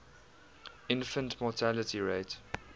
infant mortality rate